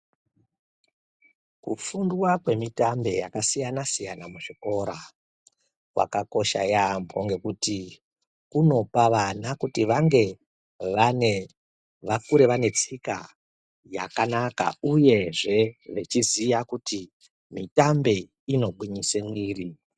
Kufundwa kwemitambe yakasiyana siyana muzvikora, kwakakosha yaambo ngekuti kunopa vana kuti vange vane, vakure vane tsika yakanaka uyezve wechiziya kuti mitambe inogwinyise mwiri.